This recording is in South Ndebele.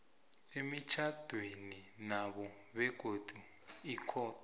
emitjhadwenabo begodu ikhotho